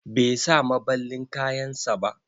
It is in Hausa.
Bai sa maballin kayan sa ba.